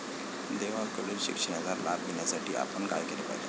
देवाकडील शिक्षणाचा लाभ घेण्यासाठी आपण काय केले पाहिजे?